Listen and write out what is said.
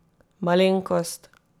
Malenkost!